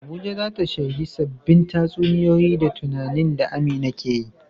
Abuja za ta shaidi sabbin tatsuniyoyi da tunanin da Amina ke yi.